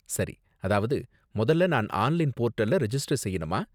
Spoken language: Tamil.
சரி! அதாவது முதல்ல, நான் ஆன்லைன் போர்ட்டல்ல ரெஜிஸ்டர் செய்யனுமா?